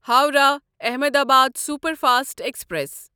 Howrah Ahmedabad superfast express